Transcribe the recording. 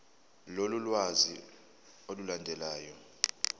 lolu lwazi olulandelayo